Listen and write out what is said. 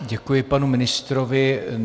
Děkuji panu ministrovi.